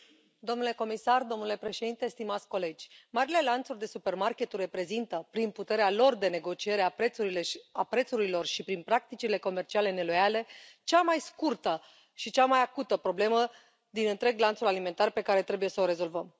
Domnule președinte, domnule comisar, stimați colegi, marile lanțuri de supermarketuri reprezintă, prin puterea lor de negocierea a prețurilor și prin practicile comerciale neloiale, cea mai scurtă și cea mai acută problemă din întreg lanțul alimentar, pe care trebuie să o rezolvăm.